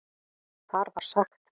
Þar var sagt